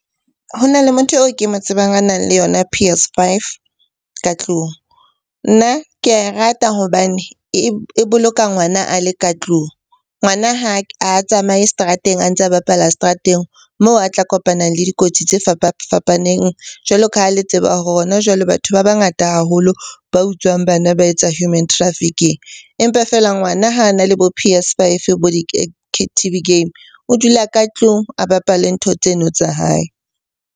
Ho na le motho eo ke mo tsebang a nang le yona P_S five ka tlung. Nna ke ae rata hobane e boloka ngwana a le ka tlung. Ngwana ha a tsamaye seterateng a ntse a bapala seterateng moo a tla kopanang le dikotsi tse fapafapaneng jwalo ka ha le tseba hore hona jwale batho ba bangata haholo ba utswang bana ba etsa human trafficking. Empa feela ngwana ha a na le bo P_S five, bo T_V game o dula ka tlung a bapale ntho tseno tsa hae.